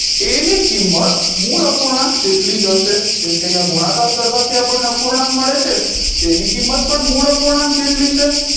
એની કિમત મૂળ અપૂર્ણાંક જેટલી જ હશે જેમકે અહિયાં ગુણાકાર કરવાથી અપરને અપૂર્ણાંક મળે છે તેની કિમત પણ મૂળ અપૂર્ણાંક જેટલી છે